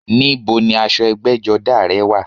Ní bo ni aṣọ ẹgbẹ́jọdá rẹ̀ wà?